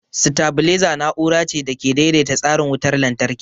Sitabileza na'ura ce da ke daidaita tsarin wutar lantarki.